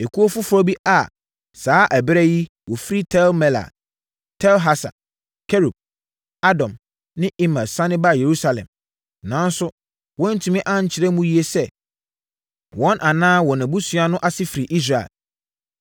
Ekuo foforɔ bi a saa ɛberɛ yi wɔfiri Tel-Melah, Tel-Harsa, Kerub, Adon ne Imer sane baa Yerusalem, nanso, wɔantumi ankyerɛ mu yie sɛ, wɔn anaa wɔn abusuafoɔ no ase firi Israel: 1